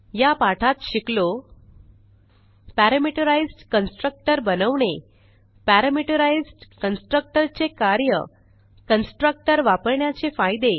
या पाठात शिकलो पॅरामीटराईज्ड कन्स्ट्रक्टर बनवणे पॅरामीटराईज्ड कन्स्ट्रक्टर चे कार्य कन्स्ट्रक्टर वापरण्याचे फायदे